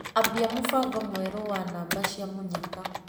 Ambia mũbango mwerũ wa namba cia mũnyaka.